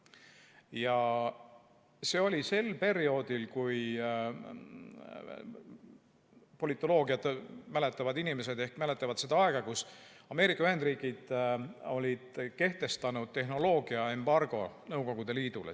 Ja see oli sel perioodil – politoloogiat tundvad inimesed ehk mäletavad seda aega –, kui Ameerika Ühendriigid olid kehtestanud tehnoloogiaembargo Nõukogude Liidule.